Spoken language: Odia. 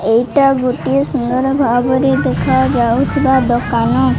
ଏଇଟା ଗୋଟିଏ ସୁନ୍ଦର ଭାବରେ ଦେଖାଯାଉଥିବା ଦୋକାନ।